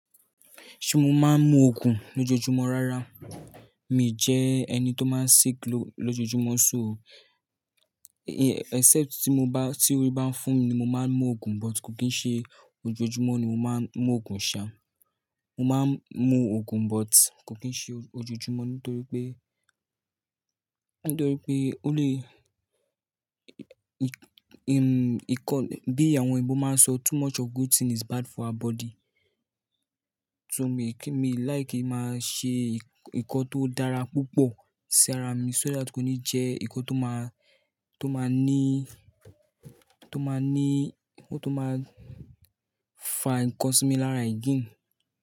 Ṣé mo máa ń mu òògùn lójoojúmọ́ rárá, mi jẹ ẹni tó máa ń sick lójoojúmọ́ sóò o. Except tí mo bá, tí orí bá fo mi ni mo máa ń mu òògùn, but kò kí n ṣe ojoojúmọ́ ni mo máa ń mu òògùn ṣa. Mo máa ń mu òògùn but kò kí ṣe ojoojúmọ́ nítorí pé, nítorí pé ó lè ì, ì, ìkọ, bí àwọn Igbo máa ń sọ "too much of good thing is bad for our body". So mi kì í, mi like kí máa ṣe ìkan tó dára púpọ̀ sí ara mi so that kò ní jẹ́ ìkan tó máa, tó máa ní, tó máa ní, tó máa fa ǹkan sí mi lára again.